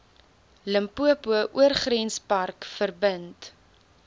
limpopo oorgrenspark verbind